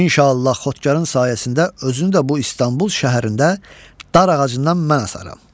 İnşallah xodkarın sayəsində özünü də bu İstanbul şəhərində dar ağacından mən asaram.